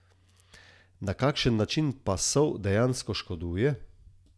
Na kakšen način pa sol dejansko škoduje?